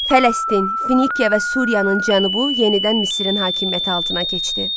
Fələstin, Finikiya və Suriyanın cənubu yenidən Misirin hakimiyyəti altına keçdi.